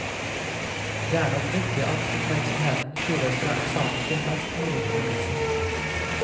Det er nok viktig at oppmerksomheten skyves fra eksamen til best mulig undervisning.